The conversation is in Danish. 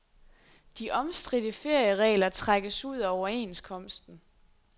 De omstridte ferieregler trækkes ud af overenskomsten.